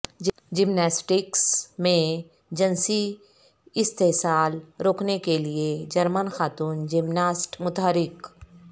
gymnastics میں جنسی استحصال روکنے کے لیے جرمن خاتون جمناسٹ متحرک